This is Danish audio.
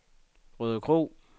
Rødekro